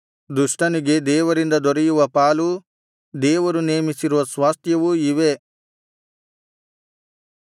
ದುಷ್ಟನಿಗೆ ದೇವರಿಂದ ದೊರೆಯುವ ಪಾಲೂ ದೇವರು ನೇಮಿಸಿರುವ ಸ್ವಾಸ್ತ್ಯವೂ ಇವೇ